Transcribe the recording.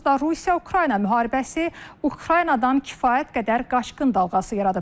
Onsuz da Rusiya-Ukrayna müharibəsi Ukraynadan kifayət qədər qaçqın dalğası yaradıb.